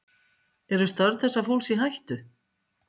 Jóhann: Eru störf þessa fólks í hættu?